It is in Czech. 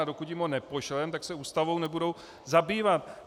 A dokud jim ho nepošleme, tak se Ústavou nebudou zabývat.